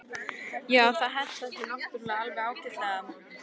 Já, það hentar þér náttúrulega alveg ágætlega.